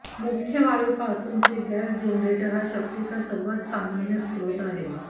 मुख्य वायूपासूनचे gas generator हा शक्तीचा सर्वात सामान्य स्त्रोत आहे